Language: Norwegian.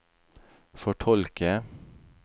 fortolke